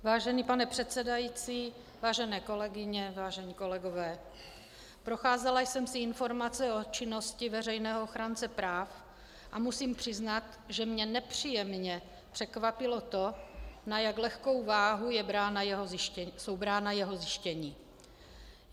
Vážený pane předsedající, vážené kolegyně, vážení kolegové, procházela jsem si informace o činnosti veřejného ochránce práv a musím přiznat, že mě nepříjemně překvapilo to, na jak lehkou váhu jsou brána jeho zjištění.